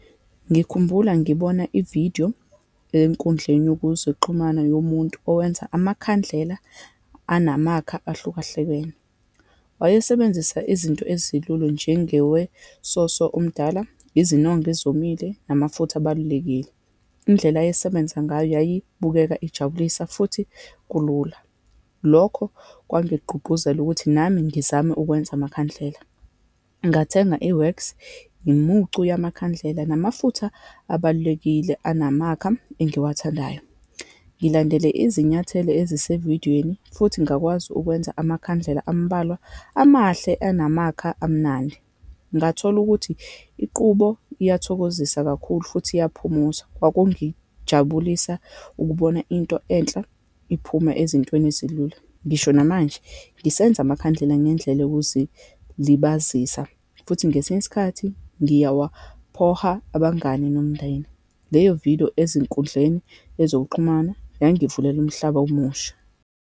Ngikhumbula ngibona ividiyo enkundleni yokuzixhumana yomuntu owenza amakhandlela anamakha ahlukahlukene. Wayisebenzisa izinto ezilulu njengewesoso omdala, izinongo ezomile, namafutha abalulekile. Indlela ayesebenza ngayo yayibukeka ijabulisa, futhi kulula. Lokho kwangigqugquzela ukuthi nami ngizame ukwenza amakhandlela. Ngathenga i-wax, yimucu yamakhandlela, namafutha abalulekile anamakha engiwathandayo, ngilandele izinyathelo ezisevidweni, futhi ngakwazi ukwenza amakhandlela ambalwa, amahle anamakha amnandi. Ngathola ukuthi iqubo iyathokozisa kakhulu futhi iyaphuza. Kwakungijabulisa ukubona into enhle iphume ezintweni ezilula. Ngisho namanje ngisenza amakhandlela ngendlela yokuzilibazisa, futhi ngesinye isikhathi ngiyawaphoha abangani nomndeni. Leyo vidiyo ezinkundleni ezokuxhumana yangivulela umhlaba omusha.